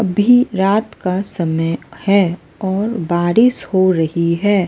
अभी रात का समय है और बारिश हो रही है।